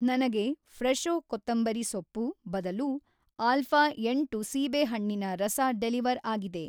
ನನಗೆ ಫ್ರೆಷೋ ಕೊತ್ತಂಬರಿ‌ ಸೊಪ್ಪು ಬದಲು ಅಲ್ಫಾ ಎಂಟು ಸೀಬೇಹಣ್ಣಿನ ರಸ ಡೆಲಿವರ್‌ ಆಗಿದೆ